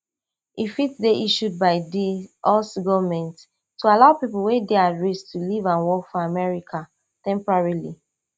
e fit dey issued by di us goment to allow pipo wey dey at risk to live and work for america temporarily